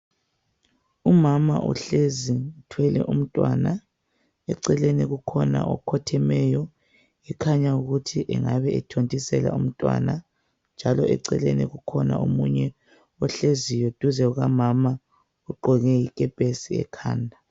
Umama ohlezi uthwele umntwana, eceleni kukhona okhothemeyo ekhanya ukuthi engabe ethontisela umntwana, njalo eceleni kukhona omunye ohleziyo duze kukamama oqoke ikepesi ekhanda.